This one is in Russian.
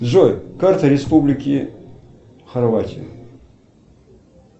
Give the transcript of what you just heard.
джой карта республики хорватия